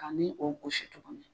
Ka ni o gosi tuguni